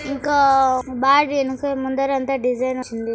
ఇంకా ముందరంతా డిజైన్ వచ్చింది